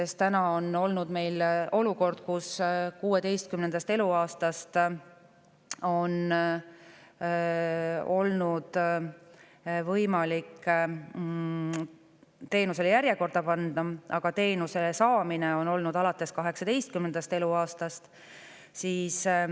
Seni on meil olnud olukord, kus 16. eluaastast on olnud võimalik teenuse järjekorda panna, aga teenuse saamine on olnud võimalik alates 18. eluaastast.